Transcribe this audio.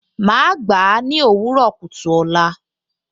Màá gbà á ní òwúrọ̀ kùtù ọ̀la